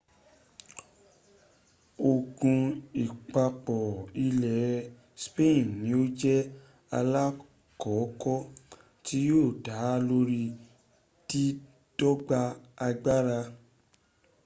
ogun igbapò ilẹ̀ spain ni ó jẹ́ alákọ̀ọ́kọ́ tí yóò dá lórí dídọ́gba agbára